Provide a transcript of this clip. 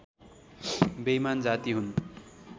बेइमान जाति हुन्